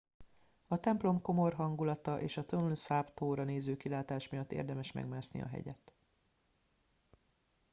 a templom komor hangulata és a tonle sap tóra néző kilátás miatt érdemes megmászni a hegyet